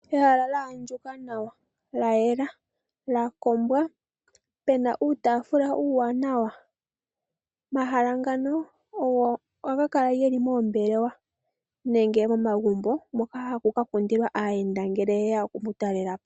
Ehala lya andjuka nawa lya yela lya kombwa pena uutafula uuwanawa. Omahala ngano ogo haga kala geli moombelewa nenge momagumbo moka haku ka kundilwa aayenda ngele yeya okuku talelapo.